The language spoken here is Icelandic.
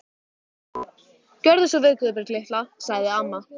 Gjörðu svo vel Guðbjörg litla, sagði amma.